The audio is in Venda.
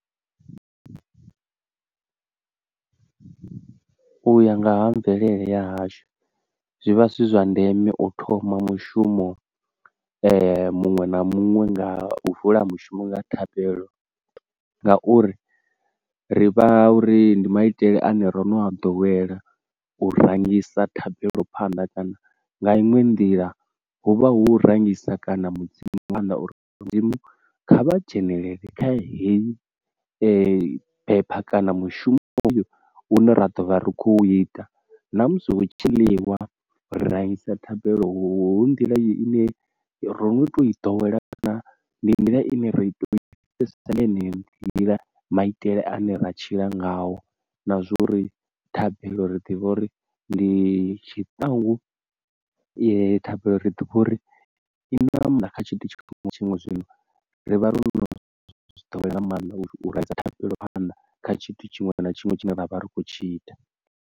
Uya nga ha mvelele ya hashu zwivha zwi zwa ndeme u thoma mushumo muṅwe na muṅwe nga uvula mushumo nga thabelo, ngauri ri vha uri ndi maitele ane ro no a ḓowela u rangisa thabelo phanḓa kana nga inwe nḓila huvha hu rangisa kana mudzimu nga mannḓa uri mudzimu kha vha dzhenelele kha heyi bepha kana mushumo une ra ḓovha ri khou ita. Na musi hu tshi ḽiwa raisa thabelo hu nḓila i ne ro no toi ḓowela kana ndi nḓila ine ra pfesesa nga yeneyo nḓila maitele ane ra tshila ngao, na zwori thabelo uri ḓivha uri ndi tshiṱangu, thabelo ri ḓivha uri i na maanḓa kha tshithu tshiṅwe na tshiṅwe. Zwino rivha ro no zwi ḓowela nga maanḓa u rengisa thabelo phanḓa kha tshithu tshiṅwe na tshiṅwe tshine ra vha ri khou tshi ita.